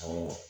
Awɔ